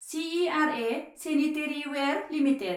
CERA sanitaryware limited